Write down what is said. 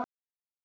Þvílík kona.